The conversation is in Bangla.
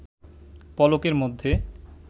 পলকের মধ্যে